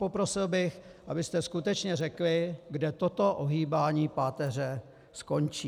Poprosil bych, abyste skutečně řekli, kde toto ohýbání páteře skončí.